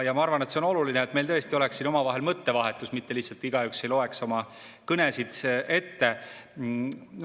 Ma arvan, et see on oluline, et meil tõesti oleks siin omavahel mõttevahetus, mitte lihtsalt igaüks ei loeks oma kõnesid ette.